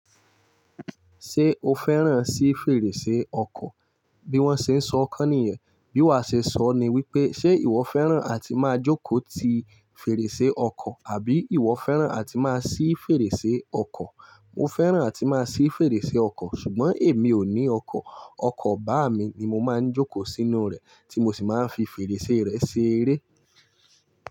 Ṣé o fẹ́ràn sí fèrèsé ọkọ̀? Bí wọ́n ṣe ń sọ kọ́ nìyẹn. Bí wa ṣe sọ ni wípé, ṣe ìwọ fẹ́ràn àti máa jókòó ti fèrèsé ọkọ̀ àbí ìwọ fẹ́ràn àti máa ṣí fèrèsé ọkọ̀? Mo fẹ́ràn àti máa ṣí fèrèsé ọkọ̀. Ṣùgbọ́n èmi ò ní ọkọ̀. Ọkọ̀ bàámi ni mo máa ń jókòó sínú rẹ̀, tí mo sì máa ń fi fèrèsé rẹ̀ ṣeré.